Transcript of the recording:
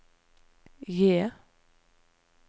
J